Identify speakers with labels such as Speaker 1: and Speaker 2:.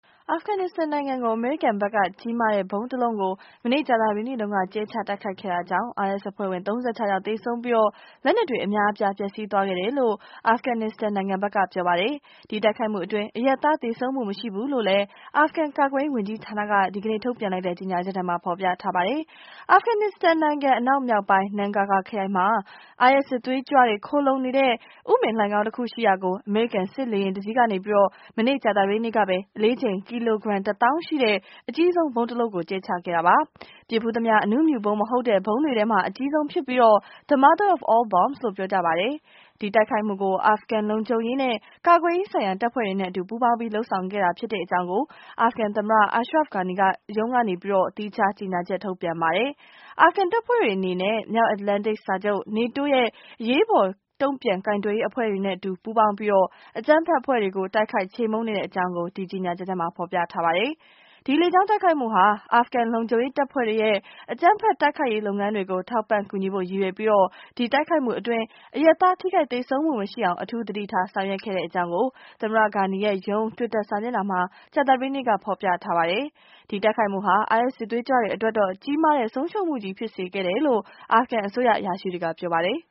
Speaker 1: အာဖဂန်နစ္စတန်နိုင်ငံမှာ အမေရိကန်ဘက်က ကြီးမားတဲ့ ဗုံးတလုံး မနေ့ကြာသပတေးနေ့က ကြဲချတိုက်ခိုက်ခဲ့တာကြောင့် IS အဖွဲ့ဝင် ၃၆ ယောက်သေဆုံးပြီး၊ လက်နက်တွေအများအပြား ပျက်စီးသွားခဲ့တယ်လို့ အာဖဂန်နစ္စတန်နိုင်ငံဘက်က ပြောလိုက်ပါတယ်။ ဒီတိုက်ခိုက်မှုအတွင်း အရပ်သားသေဆုံးမှုမရှိဘူးလို့လည်း အာဖဂန်ကာကွယ်ရေးဝန်ကြီးဌာနကက ဒီကနေ့ ထုတ်ပြန်လိုက်တဲ့ကြေငြာချက်ထဲမှာ ဖော်ပြထားပါတယ်။ အာဖဂန်နစ္စတန်နိုင်ငံ အရှေ့မြောက်ပိုင်း Nangargar ခရိုင်မှာ IS စစ်သွေးကြွတွေ ခိုလုံနေတဲ့ ဥမင်လိုဏ်ခေါင်းတခုရှိရာကို အမေရိကန် စစ်လေယာဉ်တစီးကနေ မနေ့က ကြာသပတေးနေ့ကပဲ အလေးချိန် ကီလိုဂရမ် ၁ သောင်းရှိတဲ့ အကြီးဆုံး ဗုံးတလုံး ကျဲချခဲ့ပါတယ်။ ပစ်ဖူးသမျှ အနုမြူဗုံးမဟုတ်တဲ့ ဗုံးတွေထဲမှာ အကြီးဆုံးဖြစ်ပြီး the mother of all bombs လို့ ပြောကြပါတယ်။ ဒီတိုက်ခိုက်မှုကို အာဖဂန်လုံခြုံရေးနဲ့ ကာကွယ်ရေးဆိုင်ရာတပ်ဖွဲ့တွေနဲ့အတူ ပူးပေါင်းပြီး လုပ်ဆောင်ခဲ့ တာဖြစ်တဲ့အကြောင်း အာဖဂန်သမ္မတ Ashraf Ghani ရုံးကလည်း သီးခြား ကြေညာချက် ထုတ်ပြန်ပါတယ်။ အာဖဂန်တပ်ဖွဲ့တွေ အနေနဲ့ မြောက်အတ္တလန်တိတ်စာချုပ် နေတိုး ရဲ့ အရေးပေါ် တုံ့ပြန်ကိုင်တွယ်ရေးအဖွဲ့တွေနဲ့အတူ ပူးပေါင်းပြီး အကြမ်းဖက်ဖွဲ့တွေကို တိုက်ခိုက် ချေမှုန်းနေတဲ့အကြောင်းလည်း အဲဒီကြေညာချက်ထဲမှာ ဖော်ပြထားပါတယ်။ ဒီလေကြောင်း တိုက်ခိုက်မှုဟာ အာဖဂန်လုံခြုံရေးတပ်ဖွဲ့တွေရဲ့ အကြမ်းဖက် တိုက်ခိုက်ရေး လုပ်ငန်းတွေကို ထောက်ပံ့ကူညီဖို့ ရည်ရွယ်ပြီး ဒီတိုက်ခိုက်မှုအတွင်း အရပ်သား ထိခိုက်သေဆုံးမှုမရှိအောင် အထူး သတိထား ဆောင်ရွက်ခဲ့တဲ့အကြောင်းလည်း သမ္မတ Ghani ရဲ့ ရုံး တွီတာ စာမျက်နှာမှာ ကြာသပတေး နေ့က ဖော်ပြထားပါတယ်။ ဒီတိုက်ခိုက်မှုဟာ IS စစ်သွေးကြွတွေအတွက်တော့ ကြီးမားတဲ့ ဆုံးရှုံးမှုကြီးဖြစ်စေခဲ့တယ်လို့ အာဖဂန်အစိုးရ အရာရှိတွေက ပြောပါတယ်။